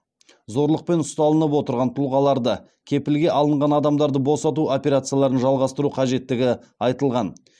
зорлықпен ұсталынып отырған тұлғаларды кепілге алынған адамдарды босату операцияларын жалғастыру қажеттігі айтылған